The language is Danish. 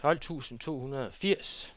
tolv tusind to hundrede og firs